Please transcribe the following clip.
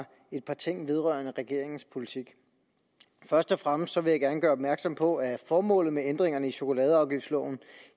et par ting vedrørende regeringens politik først og fremmest vil jeg gerne gøre opmærksom på at formålet med ændringerne i chokoladeafgiftsloven